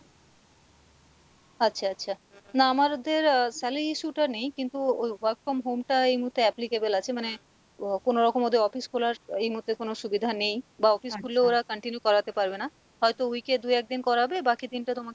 আচ্ছা আচ্ছা, না আমারদের আহ salary issue টা নেই কিন্তু work from home টা এই মুহুর্তে applicable আছে মানে ও কোনো রকম ওদের office খোলার এই মুহুর্তে কোনো সুবিধা নেই বা office খুলে ওরা continue করাতে পারবে না হয়তো week এ দু একদিন করাবে বাকি দিনটা তোমাকে,